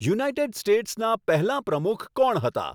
United સ્ટેટ્સના પહેલાં પ્રમુખ કોણ હતા